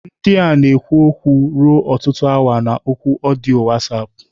Ndị a na-ekwu okwu ruo ọtụtụ awa na oku ọdịyo WhatsApp.